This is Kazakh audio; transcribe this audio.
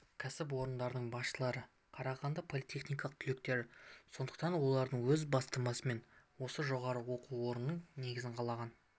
кәсіпорындардың басшылары қарағанды политехының түлектері сондықтан олардың өз бастамасымен осы жоғары оқу орнының негізін қалаған